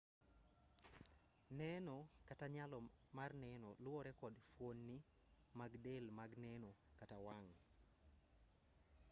neno kata nyalo mar neno luwore kod fuonni mag del mag neno kata wang'